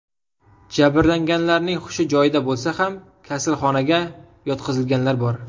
Jabrlanganlarning hushi joyida bo‘lsa ham, kasalxonaga yotqizilganlar bor.